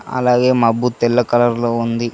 అలాగే మబ్బు తెల్ల కలర్ లో ఉంది